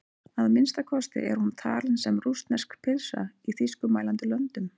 Að minnsta kosti er hún talin sem rússnesk pylsa í þýskumælandi löndum.